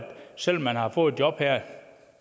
selv om man har fået et job her